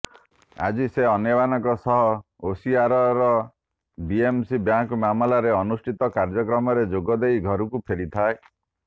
ଆଜି ସେ ଅନ୍ୟମାନଙ୍କ ସହ ଓସିୱାରାରେ ବିଏମସି ବ୍ୟାଙ୍କ ମାମଲାରେ ଅନୁଷ୍ଠିତ କାର୍ଯ୍ୟକ୍ରମରେ ଯୋଗ ଦେଇ ଘରକୁ ଫେରିଥିଏ